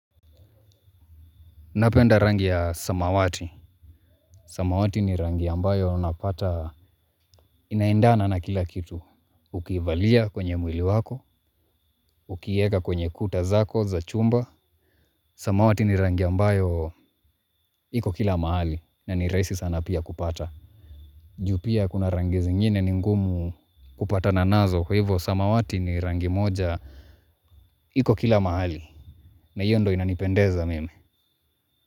Napenda rangi ya samawati. Samawati ni rangi ambayo unapata inaendana na kila kitu. Ukiivalia kwenye mwili wako, ukieka kwenye kuta zako za chumba. Samawati ni rangi ambayo iko kila mahali na ni rahisi sana pia kupata. Ju pia kuna rangi zingine ningumu kupatana nazo kwa hivo samawati ni rangi moja iko kila mahali na hiyo ndo inanipendeza mimi.